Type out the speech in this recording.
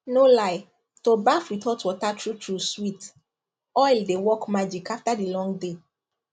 no lie to baff with hot water truetrue sweet oil dey work magic after dey long day